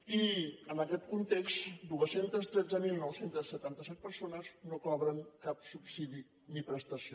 i en aquest context dos cents i tretze mil nou cents i setanta set persones no cobren cap subsidi ni prestació